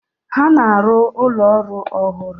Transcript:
Ha na-arụ ụlọ ọrụ ọhụrụ.